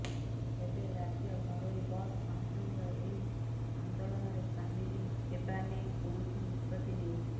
ତେବେ ରାଜ୍ୟ ଘରୋଇ ବସ୍ ମହାସଂଘ ଏହି ଆନ୍ଦୋଳନରେ ସାମିଲ ହେବା ନେଇ କୌଣିସ ନିଷ୍ପତ୍ତି ନେଇନାହିଁ